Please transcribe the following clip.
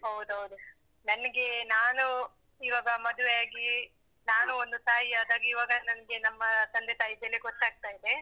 ಹೌದೌದು. ನನ್ಗೆ ನಾನು ಇವಾಗ ಮದ್ವೆ ಆಗಿ, ನಾನೂ ಒಂದು ತಾಯಿಯಾದಾಗ ಇವಾಗ ನನ್ಗೆ ನಮ್ಮ ತಂದೆ ತಾಯಿ ಬೆಲೆ ಗೊತ್ತಾಗ್ತಾ ಇದೆ.